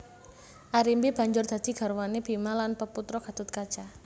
Arimbi banjur dadi garwané Bima lan peputra Gathotkaca